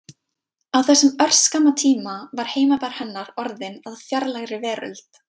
Á þessum örskamma tíma var heimabær hennar orðinn að fjarlægri veröld.